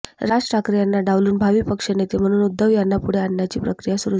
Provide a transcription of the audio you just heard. राज ठाकरे यांना डावलून भावी पक्षनेते म्हणून उद्धव यांना पुढे आणण्याची प्रक्रिया सुरू झाली